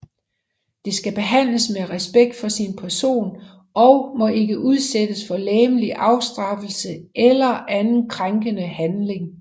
Det skal behandles med respekt for sin person og må ikke udsættes for legemlig afstraffelse eller anden krænkende behandling